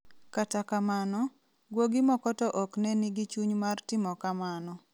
Kata kamano, guogi moko to ok ne nigi chuny mar timo kamano.